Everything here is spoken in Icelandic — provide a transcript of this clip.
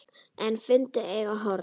En fundu engin horn.